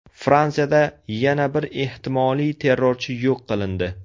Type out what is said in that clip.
Fransiyada yana bir ehtimoliy terrorchi yo‘q qilindi.